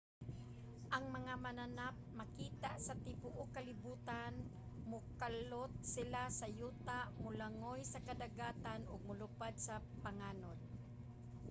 ang mga mananap makita sa tibuok kalibutan. mokalot sila sa yuta molangoy sa kadagatan ug molupad sa panganod